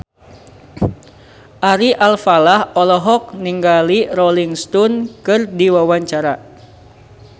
Ari Alfalah olohok ningali Rolling Stone keur diwawancara